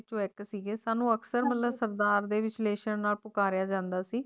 ਵਿਚੋਂ ਏਇਕ ਸੀਗੇ ਸਾਨੂ ਹਾਂਜੀ ਅਕਸਰ ਮਤਲਬ ਸਰਦਾਰ ਦੇ